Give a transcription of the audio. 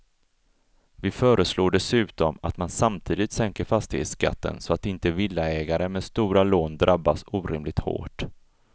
Vi föreslår dessutom att man samtidigt sänker fastighetsskatten så att inte villaägare med stora lån drabbas orimligt hårt.